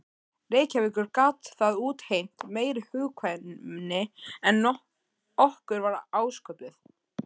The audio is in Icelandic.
Reykjavíkur gat það útheimt meiri hugkvæmni en okkur var ásköpuð.